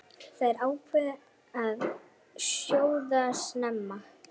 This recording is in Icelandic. Þær ákváðu að sjóða snemma.